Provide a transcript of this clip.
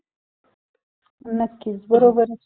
केवढा आहे गाळा त्याचं काय सांगतो नाही का